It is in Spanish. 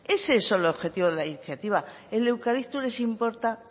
es ese el objetivo de la iniciativa el eucalipto les importa